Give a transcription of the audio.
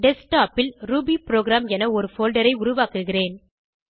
desktop ல் Ruby program என ஒரு போல்டர் ஐ உருவாக்குகிறேன்